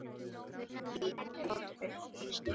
Svo veinaði hann af hlátri og hristi hausinn.